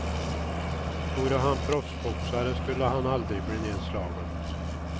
Vore han proffsboxare skulle han aldrig bli nedslagen.